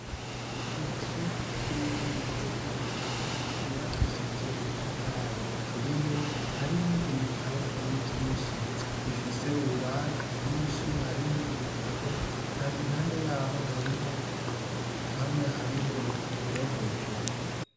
Inzu y'ububiko bw'ibitabo yubakishije ubutafari buturiye, harimwo ibitabo vyinshi, bifise ububati bwinshi harimwo ibitabo, hari impande yariho, hamwe hariho urupapuro hejuru.